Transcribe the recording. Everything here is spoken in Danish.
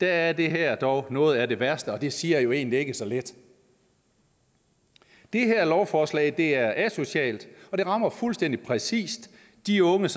er det her dog noget af det værste og det siger jo egentlig ikke så lidt det her lovforslag er asocialt og det rammer fuldstændig præcis de unge